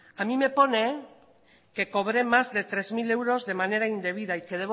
a mí me pone que cobré más de tres mil euros de manera indebida y que